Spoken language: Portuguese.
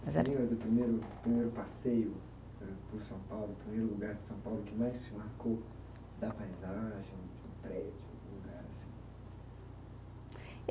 Se lembra do primeiro, primeiro passeio eh por São Paulo, o primeiro lugar de São Paulo que mais te marcou da paisagem, de um prédio, de um lugar assim?